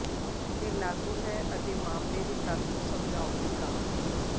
ਤੇ ਲਾਗੂ ਹੈ ਅਤੇ ਮਾਮਲੇ ਦੀ ਤੱਤ ਨੂੰ ਸਮਝਾਉਣ ਲਈ ਕਾਫ਼ੀ